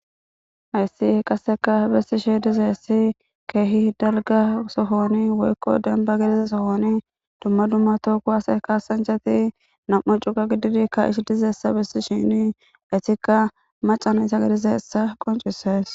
Haysse qassekka bessisheedizaysse keehi dalgga sohooni woykko dembba gidiza sohooni dumma dumma toho kuwase kaassanchchati nam7u cume gididi kaa7ishi dizeessa bessishini ethikka macca na7itha gidizeyssa qonccissees.